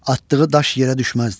Atdığı daş yerə düşməzdi.